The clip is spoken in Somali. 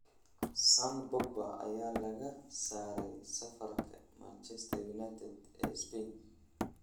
(Sun) Pogba ayaa laga saaray safarka Manchester United ee Spain.